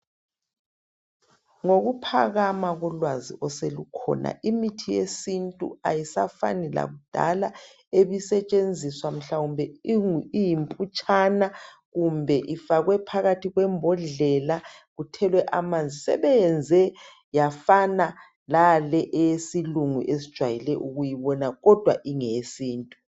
Ngokuphakama kolwazi oselukhona imithi yesintu ayisafani lakudala ebisetshenziswa mhlawumbe iyimputshana kumbe ifakwe phakathi kwembodlela kuthelwe amanzi. Sebeyenze yafana lale eyesilungu esijwayele ukuyibona kodwa ingeyesintu.